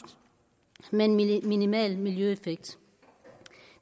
med en minimal miljøeffekt